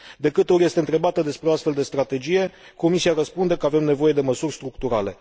De câte ori este întrebată despre o astfel de strategie, Comisia răspunde că avem nevoie de măsuri structurale.